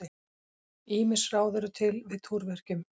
Ýmis ráð eru til við túrverkjum.